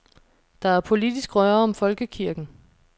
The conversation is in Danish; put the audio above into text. Der er politisk røre om folkekirken.